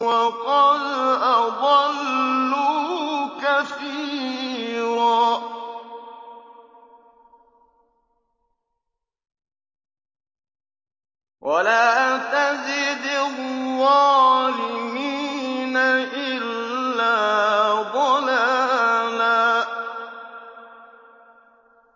وَقَدْ أَضَلُّوا كَثِيرًا ۖ وَلَا تَزِدِ الظَّالِمِينَ إِلَّا ضَلَالًا